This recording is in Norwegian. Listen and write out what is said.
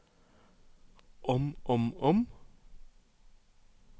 om om om